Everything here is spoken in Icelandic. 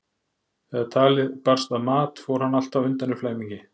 Þegar talið barst að mat fór hann alltaf undan í flæmingi.